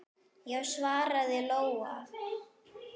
Já, svaraði Lóa.